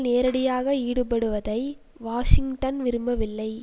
நேரடியாக ஈடுபடுவதை வாஷிங்டன் விரும்பவில்லை